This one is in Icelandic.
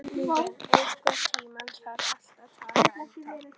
Línbjörg, einhvern tímann þarf allt að taka enda.